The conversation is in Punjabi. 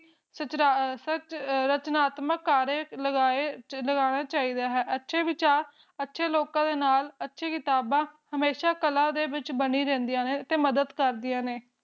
ਅਪਰਾਧਕ ਦੌਲਤ ਨਾ ਆਤਮਾ ਦਿ ਆਲਗਾਏ ਬੂਟੇ ਲਗਾਉਣਾ ਚਾਹੀਦਾ ਹੈ ਪਤਝੜ ਲੱਖਾਂ ਲੋਕਾਂ ਦੇ ਨਾਲ ਢੱਕੀ ਢਾਹ ਬੈਠਾ ਕਲਾ ਦੇ ਵਿੱਚ ਬਣੀ ਰਹਿੰਦੀ ਹੈ ਅਤੇ ਮਦਦ ਕਰਦੀ ਹੈ